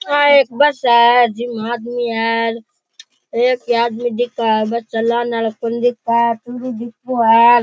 यहाँ एक बस है जिम्मे आदमी है म एक ही आदमी दिखे है बस चला रा कोनी दिखे है --